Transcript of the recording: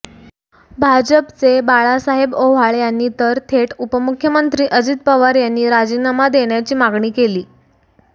भाजपचे बाळासाहेब ओव्हाळ यांनी तर थेट उपमुख्यमंत्री अजित पवार यांनी राजीनामा देण्याची मागणी केली